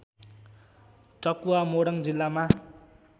टकुवा मोरङ जिल्लामा